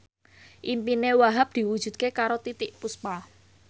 impine Wahhab diwujudke karo Titiek Puspa